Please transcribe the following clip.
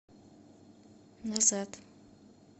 назад